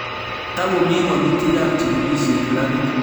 Tagomii wolutigap chigilishet labit